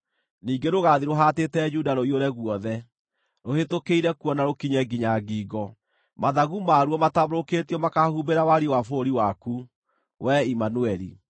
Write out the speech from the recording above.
ningĩ rũgaathiĩ rũhaatĩte Juda rũiyũre guothe, rũhĩtũkĩire kuo na rũkinye nginya ngingo. Mathagu maaruo matambũrũkĩtio makaahumbĩra wariĩ wa bũrũri waku, wee Imanueli!”